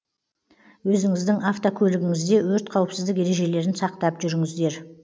өзіңіздің автокөлігіңізде өрт қауіпсіздік ережелерін сақтап жүріңіздер